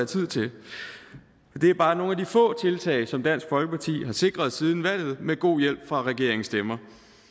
tid til det er bare nogle få tiltag som dansk folkeparti har sikret siden valget med god hjælp fra regeringens stemmer